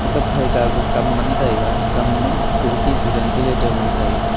kapphai kagu kam ngantaga kam ma khirki chu ventilator ngan taga.